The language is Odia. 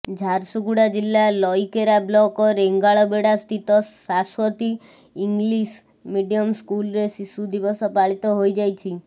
ଝାରସୁଗୁଡ଼ା ଜିଲ୍ଲା ଲଇକେରା ବ୍ଲକ ରେଙ୍ଗାଳବେଡ଼ା ସ୍ଥିତ ସାସ୍ବତୀ ଇଂଲିଶ ମିଡିୟମ ସ୍କୁଲରେ ଶିଶୁ ଦିବସ ପାଳିତ ହୋଇଯାଇଛି